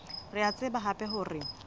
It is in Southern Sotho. re a tseba hape hore